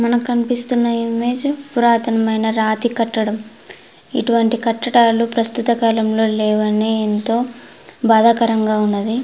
మనకు కనిపిస్తున్న ఇమేజ్ పురాతనమైన రాతికట్టడం ఇటువంటి కట్టడాలు ప్రస్తుత కాలంలో లేవని ఏంతో బాధాకరంగా ఉన్నది.